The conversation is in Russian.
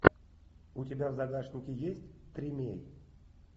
у тебя в загашнике есть тримей